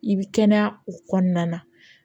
I bi kɛnɛya o kɔnɔna na